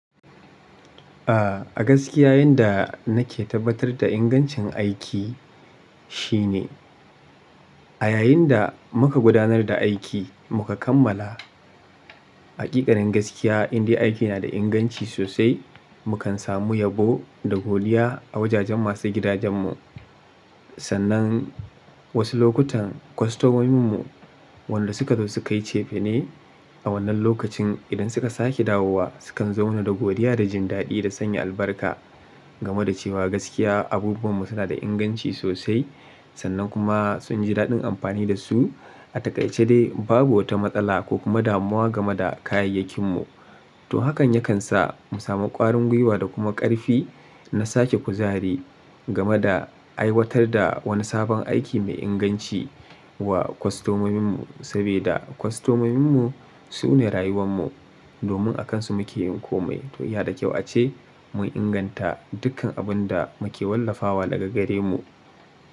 A, a gaskiya yanda nake tabbatar da ingancin aiki shine, a yayin da muka gudanar da aiki muka kammala. Hakikanin gaskiya indai aiki na da inganci sosai, mukan samu yabo da godiya a wajajen masu gidajen mu. Sannan wasu lokutan kwastomominmu wanda suka zo su kai cefi ne. A wannan lokacin idan suka sake dawowa, sukan zo mana da godiya da jin daɗi da sanya albarka. Game da cewa gaskiya abubuwanmu suna da inganci sosai sannan kuma sun ji daɗin amfani da su. A takaice dai babu wata matsala ko kuma damuwa game da kayayyakinmu. To hakan ya kan sa mu samu ƙwarin gwiwa da kuma ƙarfi na sake kuzari game da aiwatar da wani sabon aiki mai inganci wa kwastomominmu. Saboda kwastomominmu su ne rayuwanmu domin akansu muke yin komai. To ya da kyau ace mu inganta dukkan abun da muke wallafawa daga gare mu.